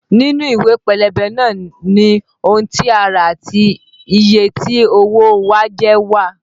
Nínú ìwé pélébé náà ni ohun tí a rà àti iye tí owó o wa jẹ́ wà